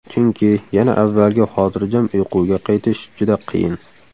Chunki, yana avvalgi xotirjam uyquga qaytish juda qiyin.